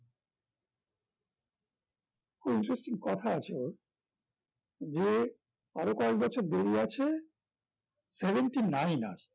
খুব interesting কথা আছে ওর যে আরো কয়েক বছর দেরি আছে seventy-nine আর